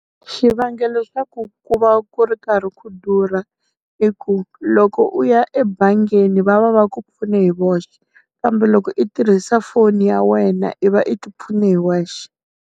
Xivangelo xa ku ku va ku ri karhi ku durha i ku, loko u ya ebangini va va va ku pfune hi voxe kambe loko i tirhisa foni ya wena i va i ti pfune hi wexe.